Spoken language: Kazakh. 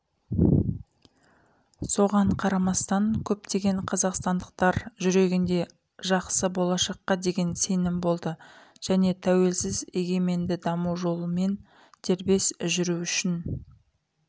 соған қарамастан көптеген қазақстандықтардың жүрегінде жақсы болашаққа деген сенім болды және тәуелсіз егеменді даму жолымен дербес жүру үшін